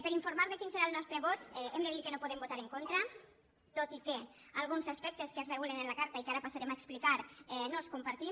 per informar de quin serà el nostre vot hem de dir que no podem votar hi en contra tot i que alguns aspectes que es regulen en la carta i que ara passarem a explicar no els compartim